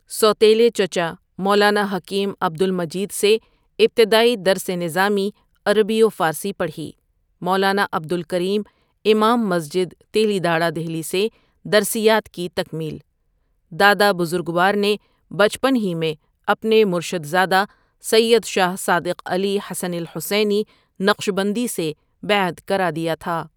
سو تیلے چچا مولانا حکیم عبد المجید سے ابتدائی درس نظامی عربی وفارسی پڑھی، مولانا عبد الکریم امام مسجد تیلی داڑہ دہلی سے درسیات کی تکمیل دادا بزرگوار نے بچپن ہی میں اپنے مرشد زادہ سید شاہ صادق علی حسنی الحسینی نقشبندی سے بیعت کرادیا تھا ۔